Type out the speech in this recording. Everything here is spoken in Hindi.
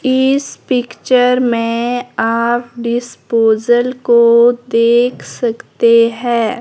इस पिक्चर में आप डिस्पोजल को देख सकते हैं।